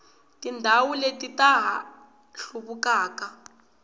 tindhawu leti ta ha hluvukaka